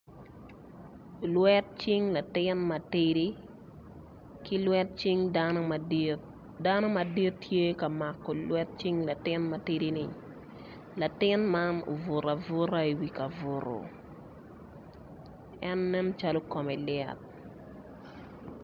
Lwet cing latin ma tidil ki lwet cing dano madit lwet cing dano madit tye ka mako cing latin ma tidi-ni latin ma obuto abuta i wi kabuto en nencalo kome lit.